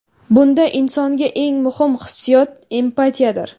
Bunda insonga eng muhim hissiyot empatiyadir.